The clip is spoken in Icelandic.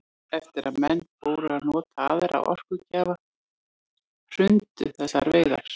Eftir að menn fóru að nota aðra orkugjafa hrundu þessar veiðar.